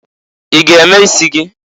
I g'eme isi gị?